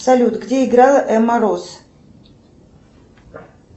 салют где играла эмма роуз